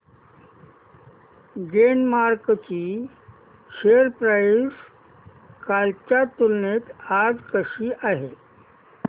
Glenmark ची share price कालच्या तुलनेत आज कशी आहे